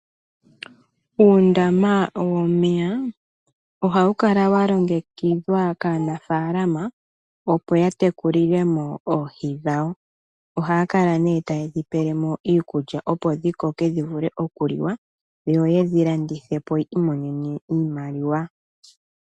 Uundama womeya ohawu kala wa longekidhwa kaanafaalama opo ya tekulile mo oohi dhawo. Ohaya kala nee taye dhi pele mo iikulya opo dhi koke dhi vule oku liwa, yo yedhi landithe po yi imonene mo iimaliwa.